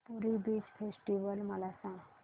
पुरी beach festival मला सांग